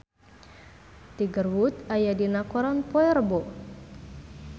Tiger Wood aya dina koran poe Rebo